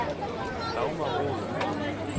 Dagmar Roed